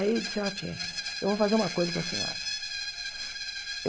Aí ele disse, ok, eu vou fazer uma coisa com a senhora.